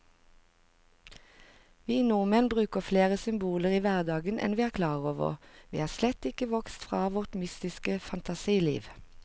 Vi nordmenn bruker flere symboler i hverdagen enn vi er klar over, vi er slett ikke vokst fra vårt mytiske fantasiliv.